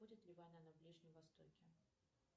будет ли война на ближнем востоке